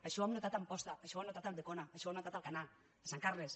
això ho hem notat a amposta això ho hem notat a ulldecona això ho hem notat a alcanar a sant carles